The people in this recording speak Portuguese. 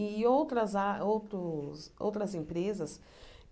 E outras a outros outras empresas